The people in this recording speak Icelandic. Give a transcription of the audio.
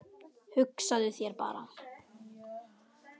Hugsaðu þér bara.